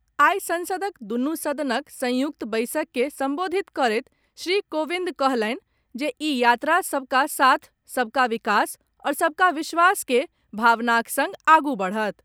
आइ संसदक दुनू सदनक संयुक्त बैसक के संबोधित करैत श्री कोविंद कहलनि जे ई यात्रा सबका साथ, सबका विकास और सबका विश्वास के भावनाक संग आगू बढ़त।